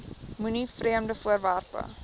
moenie vreemde voorwerpe